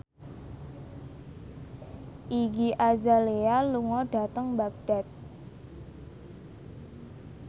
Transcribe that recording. Iggy Azalea lunga dhateng Baghdad